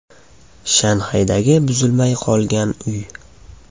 Shanxaydagi buzilmay qolgan uy.